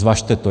Zvažte to.